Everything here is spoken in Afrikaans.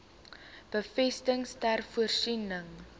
besittings ter voorsiening